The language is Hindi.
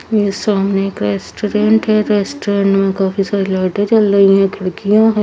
ये सामने एक रेस्टोरेंट है रेस्टोरेंट में काफी सारी लाइटे जल रही है खिड़किया भी --